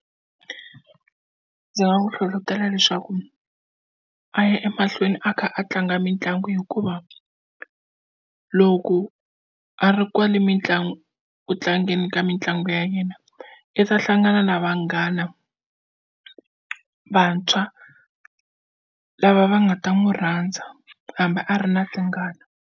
Ndzi nga n'wi hlohlotela leswaku a ya emahlweni a kha a tlanga mitlangu hikuva loko a ri kwale mitlangu ku tlangeni ka mitlangu ya yena i ta hlangana na vanghana vantshwa lava va nga ta n'wi rhandza hambi a ri na tingana.